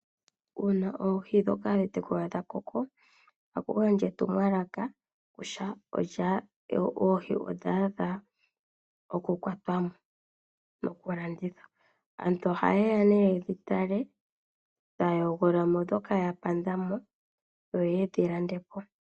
Uuna oohi ndhoka hadhi tekulwa dha koko, ohaku gandjwa etumwalaka kutya oohi odha adha oku kwatwa mo, noku landithwa. Aantu oha yeya nee yedhi tale taya hogololamo ndhoka ya pandamo yo yedhi landepo.